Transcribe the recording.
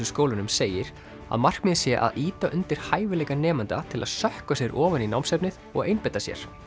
skólunum segir að markmiðið sé að ýta undir hæfileika nemenda til að sökkva sér ofan í námsefnið og einbeita sér